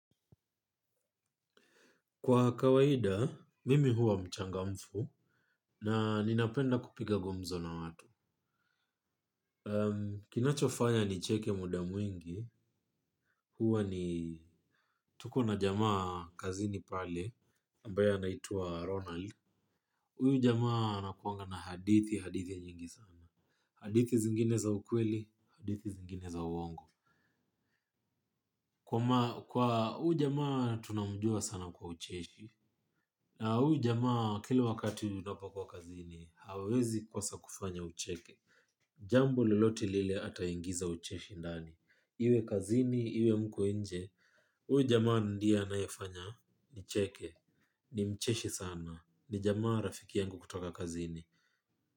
Kwa kawaida, mimi huwa mchangamfu na ninapenda kupiga gumzo na watu. Kinachofanya nicheke muda mwingi. Huwa ni tuko na jamaa kazini pale ambaye anaitwaRonald. Huyu jamaa anakuwanga na hadithi, hadithi nyingi sana. Hadithi zingine za ukweli, hadithi zingine za uongo. Kwa huyu jamaa tunamjua sana kwa ucheshi. Na huyu jamaa kilu wakati unapokuwa kazini, hawezi kosa kufanya ucheke. Jambo lolote lile ataingiza ucheshi ndani. Iwe kazini, iwe mko nje, huyu jamaa ndiye anayefanya, nicheke. Ni mcheshi sana, ni jamaa rafiki yangu kutoka kazini.